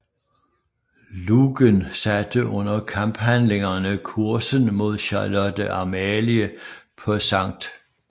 Lougen satte under kamphandlingerne kursen mod Charlotte Amalie på Skt